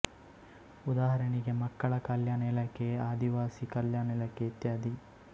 ಉದಾಹರಣೆಗೆ ಮಕ್ಕಳ ಕಲ್ಯಾಣ ಇಲಾಖೆ ಆದಿವಾಸಿ ಕಲ್ಯಾಣ ಇಲಾಖೆ ಇತ್ಯಾದಿ